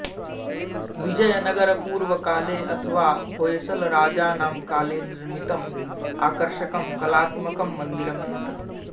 विजयनगरपूर्वकाले अथवा होय्सलराजानां काले निर्मितम् आकर्षकं कलात्मकं मन्दिरम् एतत्